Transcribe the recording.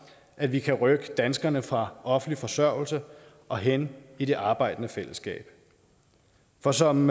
at vi kan rykke danskerne fra offentlig forsørgelse og hen i det arbejdende fællesskab for som